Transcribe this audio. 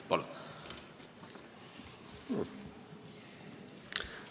Palun!